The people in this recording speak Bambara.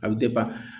A bɛ